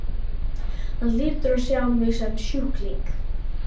Hann hlýtur að sjá mig sem sjúkling.